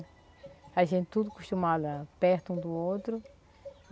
A gente tudo acostumada perto um do outro.